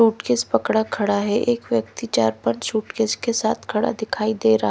suitcase पकड़ा खड़ा है एक व्यक्ति चार पांच सूटकेस किसके साथ खड़ा दिखाई दे रहा--